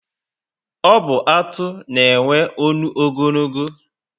Ọ bu Atụ na enwe ọṅụ ogologo